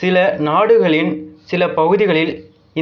சில நாடுகளின் சில பகுதிகளில்